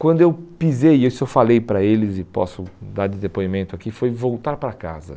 Quando eu pisei, isso eu falei para eles e posso dar de depoimento aqui, foi voltar para casa.